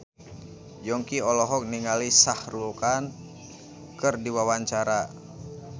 Yongki olohok ningali Shah Rukh Khan keur diwawancara